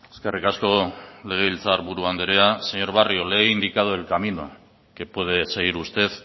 eskerrik asko legebiltzar buru andrea señor barrio le he indicado el camino que puede seguir usted